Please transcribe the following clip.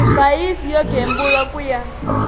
divhayisi yo gembula ku ya